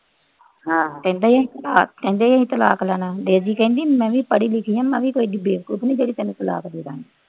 ਕਹਿੰਦੇ ਸੀ ਤਲਾਕ ਲੈਣਾ। ਬੇਬੀ ਕਹਿੰਦੀ ਮੈਂ ਵੀ ਪੜ੍ਹੀ ਲਿਖੀ ਆ, ਮੈਂ ਵੀ ਇੰਨੀ ਕੋਈ ਏਡੀ ਬੇਵਕੂਫ ਨੀ, ਜਿਹੜੀ ਤੈਨੂੰ ਤਲਾਕ ਦੇਂਦੂ।